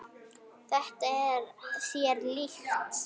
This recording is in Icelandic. Þetta var þér líkt.